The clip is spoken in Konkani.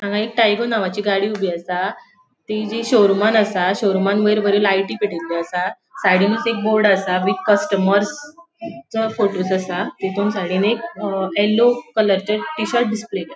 हांगा एक टायगॉ नावाची गाड़ी ऊबी आसा तेजी शोरूमान आसा शोरूमान वयर बरी लायटी पेटेले आसा साइडीनुच एक बोर्ड आसा बिग कस्टमर्सचो फोटोस आसा तेतून साइडीन एक अ येल्लो कलर चे टी शर्ट डिस्प्ले केला.